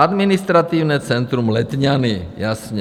Administrativní centrum Letňany, jasně.